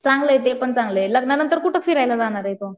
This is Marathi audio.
चांगलाये ते पण चांगलंय. लग्न नंतर कुठं फिरायला जाणारे